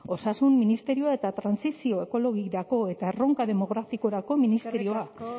osasun ministerioa eta trantsizio ekologikorako eta erronka demografikorako ministerioa